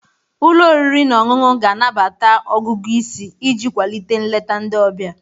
Ụlọ oriri na ọṅụṅụ ga-anabata ọgụgụ isi iji kwalite nleta ndị ọbịa.